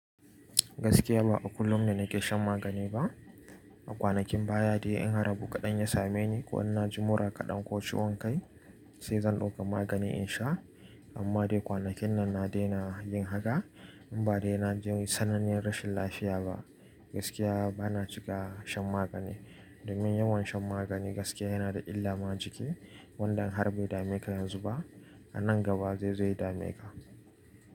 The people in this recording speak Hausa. Gaskiya ba a kullum ne na ke shan magani ba. A kwanakin baya dai in har abu kaɗan ya same ni ko in na ji mura kaɗan ko ciwon kai sai zan ɗauko magani in sha. Amma dai kwanakin nan na daina yin haka in ba dai na ji sananniyar rashin lafiya ba. Gaskiya ba na cika shan magani domin yawan shan magani gaskiya yana da illa ma jiki wanda in har bai dame ka yanzu ba a nan gaba zai zo ya dame ka.